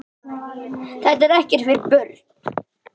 Þetta er ekkert fyrir börn!